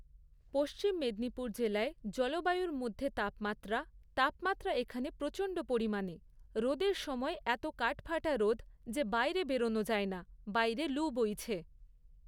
পশ্চিম মেদিনীপুর জেলায় জলবায়ুর মধ্যে তাপমাত্রা, তাপমাত্রা এখানে প্রচণ্ড পরিমাণে, রোদের সময় এতো কাঠফাটা রোদ যে বাইরে বেরোনো যায় না, বাইরে লু বইছে।